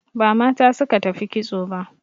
Ba mata suka tafi kitso ba